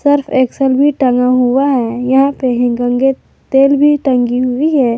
Surf Excel भी टंगा हुआ है यहां पर हिमगंगे तेल भी टंगी हुई है।